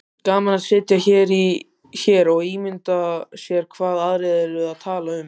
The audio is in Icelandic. Gaman að sitja hér og ímynda sér hvað aðrir eru að tala um